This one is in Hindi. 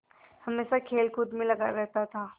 हमेशा खेलकूद में लगा रहता था